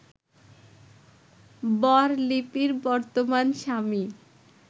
বর লিপির বর্তমান স্বামী